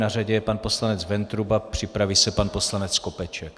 Na řadě je pan poslanec Ventruba, připraví se pan poslanec Kopeček.